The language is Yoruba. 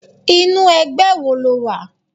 Inú ẹgbẹ́ wo lo wà?